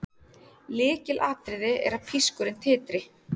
Lykilatriði er að pískurinn titri.